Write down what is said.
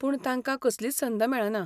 पूण तांका कसलीच संद मेळना.